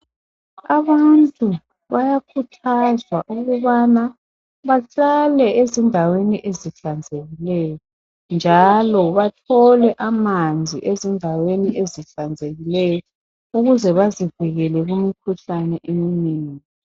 Abantu bayakhuthazwa ukubana bahlale ezindaweni ezihlanzekileyo njalo bathole amanzi ezindaweni ezihlanzekileyo ukuze bazivikele kumkhuhlane eminengi.